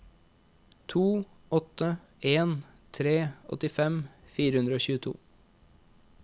to åtte en tre åttifem fire hundre og tjueto